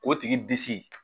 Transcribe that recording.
O tigi disi